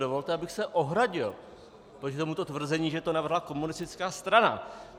Dovolte, abych se ohradil proti tomuto tvrzení, že to navrhla komunistická strana.